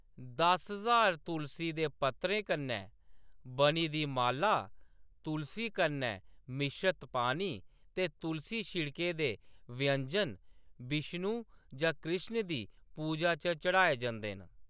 दस ज्हार तुलसी दे पत्तरें कन्नै बनी दी माला, तुलसी कन्नै मिश्रत पानी, ते तुलसी छिड़के दे व्यंजन विष्णु जां कृष्ण दी पूजा च चढ़ाए जंदे न।